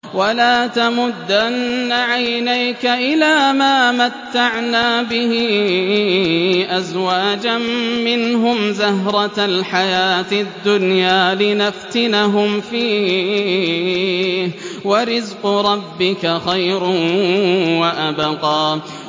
وَلَا تَمُدَّنَّ عَيْنَيْكَ إِلَىٰ مَا مَتَّعْنَا بِهِ أَزْوَاجًا مِّنْهُمْ زَهْرَةَ الْحَيَاةِ الدُّنْيَا لِنَفْتِنَهُمْ فِيهِ ۚ وَرِزْقُ رَبِّكَ خَيْرٌ وَأَبْقَىٰ